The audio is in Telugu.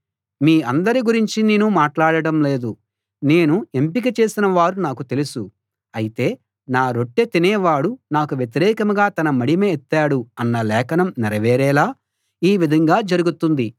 మీ అందరి గురించి నేను మాట్లాడడం లేదు నేను ఎంపిక చేసిన వారు నాకు తెలుసు అయితే నా రొట్టె తినేవాడు నాకు వ్యతిరేకంగా తన మడిమ ఎత్తాడు అన్న లేఖనం నెరవేరేలా ఈ విధంగా జరుగుతుంది